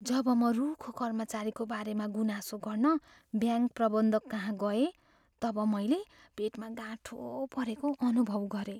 जब म रुखो कर्मचारीको बारेमा गुनासो गर्न ब्याङ्क प्रबन्धककहाँ गएँ तब मैले पेटमा गाँठो परेको अनुभव गरेँ।